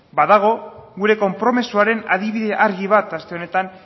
badago gure konpromisoaren adibide argi bat aste honetan